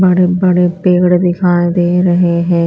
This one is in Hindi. बड़े बड़े पेड़ दिखाई दे रहे है।